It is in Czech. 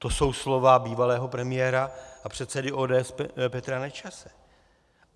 To jsou slova bývalého premiéra a předsedy ODS Petra Nečase.